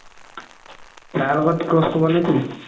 তাৰ লগত cross হ'ব নে কি?